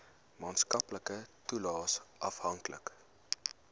maatskaplike toelaes afhanklik